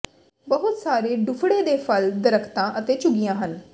ਬਹੁਤ ਸਾਰੇ ਡੁੱਫੜੇ ਦੇ ਫਲ ਦਰਖ਼ਤਾਂ ਅਤੇ ਝੁੱਗੀਆਂ ਹਨ